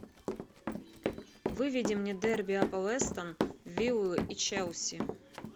выведи мне дерби апл эстон виллу и челси